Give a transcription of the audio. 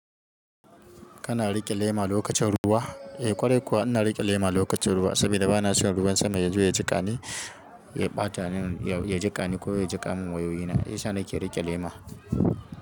Kana riƙe lema lokacin ruwa? Eh kwarai kuwa ina riƙe lema lokacin ruwa saboda bana son ruwan sama yazo ya jiƙani, ya ɓata ni, ya jiƙani ko ya jiƙa min wayoyina. Shiyasa nake riƙe lema.